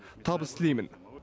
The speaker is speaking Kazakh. табыс тілеймін